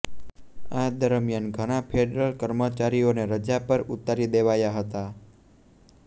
આ દરમ્યાન ઘણા ફેડરલ કર્મચારીઓને રજા પર ઉતારી દેવાયા હતા